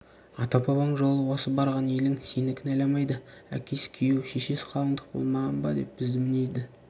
ата-бабаң жолы осы барған елің сені кінәламайды әкесі күйеу шешесі қалыңдық болмаған ба деп бізді мінейді